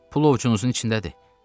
Pul ovucunuzun içindədir.